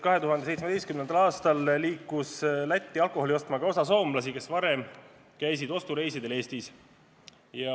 2017. aastal sõitis Lätti alkoholi ostma ka osa soomlasi, kes varem käisid ostureisidel Eestis.